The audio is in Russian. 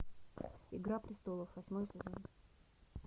игра престолов восьмой сезон